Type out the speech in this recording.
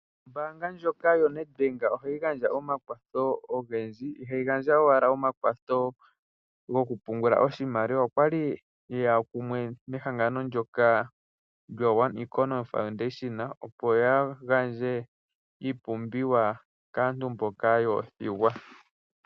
Ombaanga ndjoka yoNedbank ohayi gandja omakwatho ogendji. Ihayi gandja owala omakwatho gokupungula oshimaliwa okwali yeya kumwe nehangano ndyoka lyo One Economy Foundation opo ya gandje iipumbiwa kaantu mboka yoothigwa.